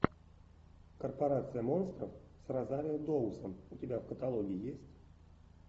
корпорация монстров с розарио доусон у тебя в каталоге есть